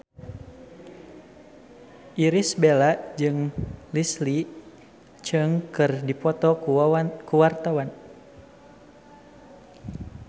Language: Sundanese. Irish Bella jeung Leslie Cheung keur dipoto ku wartawan